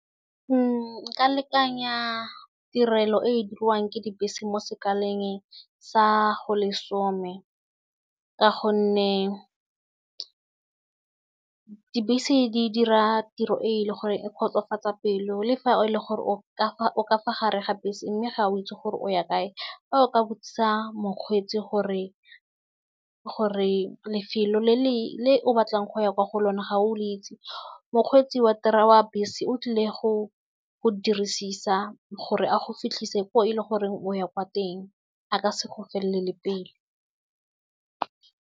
Nka lekanya tirelo e e dirwang ke dibese mo sekaleng sa go lesome ka gonne dibese di dira tiro e le gore e kgotsofatsa pelo le fa e le gore o ka fa gare ga bese mme ga o itse gore o ya kae a fa o ka botsisa mokgweetsi gore lefelo le le o batlang go ya kwa go lona ga o le itse mokgweetsi wa wa bese o tlile go go dirisisa gore a go fitlhise ko e le goreng o ya kwa teng a ka se go felele pelo.